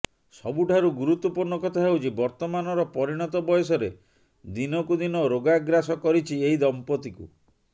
ସବୁଠାରୁ ଗୁରୁତ୍ୱପୂର୍ଣ୍ଣ କଥା ହେଉଛି ବର୍ତ୍ତମାନର ପରିଣତ ବୟସରେ ଦିନକୁ ଦିନ ରୋଗାଗ୍ରାସ କରିଛି ଏହି ଦମ୍ପତିକୁ